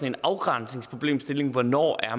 en afgrænsningsproblemstilling om hvornår